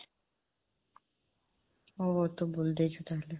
ଓହୋ, ତୁ ବୁଲି ଦେଇଛୁ ତାହେଲେ।